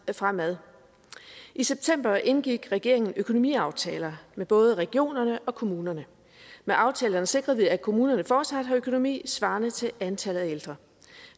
fremad i september indgik regeringen økonomiaftaler med både regionerne og kommunerne med aftalerne sikrede vi at kommunerne fortsat har økonomi svarende til antallet af ældre